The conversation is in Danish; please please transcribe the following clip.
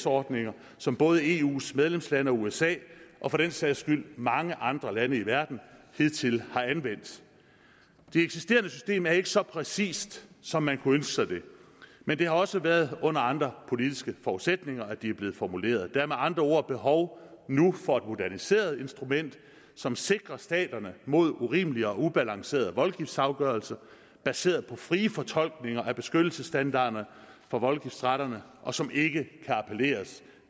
ordninger som både eus medlemslande og usa og for den sags skyld mange andre lande i verden hidtil har anvendt det eksisterende system er ikke så præcist som man kunne ønske det men det har også været under andre politiske forudsætninger at det er blevet formuleret der er med andre ord nu behov for et moderniseret instrument som sikrer staterne mod urimelige og ubalancerede voldgiftsafgørelser baseret på frie fortolkninger af beskyttelsesstandarder for voldgiftsretterne og som ikke kan appelleres